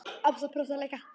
Ása brosir líka.